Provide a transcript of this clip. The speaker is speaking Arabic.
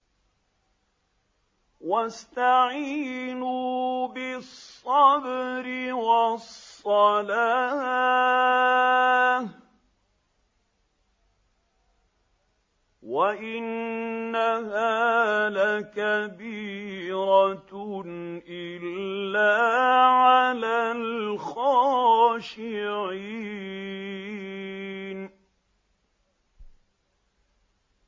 وَاسْتَعِينُوا بِالصَّبْرِ وَالصَّلَاةِ ۚ وَإِنَّهَا لَكَبِيرَةٌ إِلَّا عَلَى الْخَاشِعِينَ